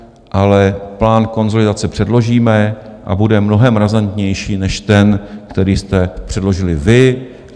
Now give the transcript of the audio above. Ale plán konsolidace předložíme a bude mnohem razantnější než ten, který jste předložili vy.